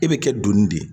E bɛ kɛ donni de ye